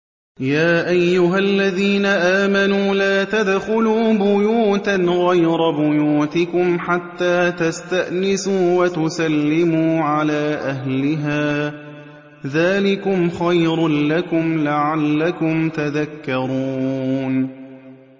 يَا أَيُّهَا الَّذِينَ آمَنُوا لَا تَدْخُلُوا بُيُوتًا غَيْرَ بُيُوتِكُمْ حَتَّىٰ تَسْتَأْنِسُوا وَتُسَلِّمُوا عَلَىٰ أَهْلِهَا ۚ ذَٰلِكُمْ خَيْرٌ لَّكُمْ لَعَلَّكُمْ تَذَكَّرُونَ